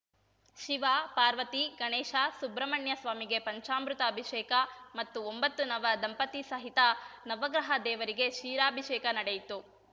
ಶಿವ ಪಾರ್ವತಿ ಗಣೇಶ ಸುಬ್ರಹ್ಮಣ್ಯಸ್ವಾಮಿಗೆ ಪಂಚಾಮೃತ ಅಭಿಷೇಕ ಮತ್ತು ಒಂಬತ್ತು ನವ ದಂಪತಿ ಸಹಿತ ನವಗ್ರಹ ದೇವರಿಗೆ ಕ್ಷೀರಾಭಿಷೇಕ ನಡೆಯಿತು